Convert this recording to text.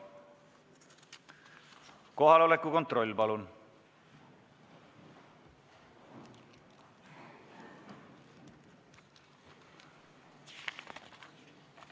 Kohaloleku kontroll, palun!